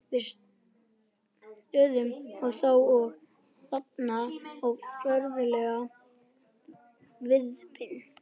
Við störðum á þá- og þaðan á föðurlegan svipinn.